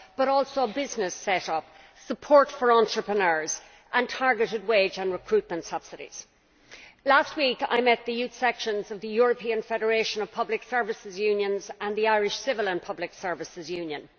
but also business set up, support for entrepreneurs and targeted wage and recruitment subsidies. Last week I met the youth sections of the European Federation of Public Services Unions and the Irish Civil and Public Services Union.